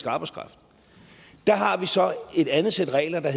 arbejdskraft der har vi så et andet sæt regler der